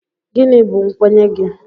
Gịnị bụ nkwenye gị?